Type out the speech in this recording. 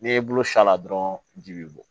N'i y'i bolo s'a la dɔrɔn ji bɛ bɔ